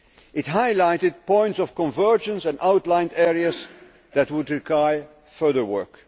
It highlighted points of convergence and outlined areas that would require further work.